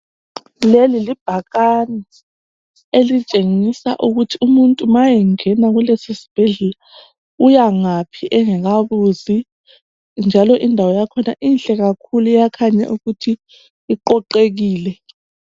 Leli libhakane elitshengisa ukuthi umuntu ma engena kulesisibhedlela uyangaphi engakabuzi njalo indawo yakhona inhle kakhulu iyakhanya ukuthi iqoqekile.